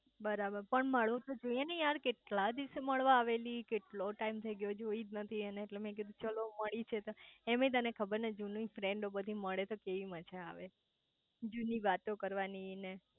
બરાબર પણ મળવું તો જોઈએ ને યાર કેટલા દિવસે મળવા આવેલી કેટલો ટાઈમ થઇ ગયેલો જોઈ જ નથી એને એટલે મેં કીધું ચાલો મળી છે તો એમેય તને ખબર છે ને જુના ફ્રેન્ડ મળે તો કેટલી મજા આવે જૂની વાતો કરવાની ને